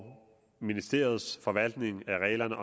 ministeriets forvaltning af reglerne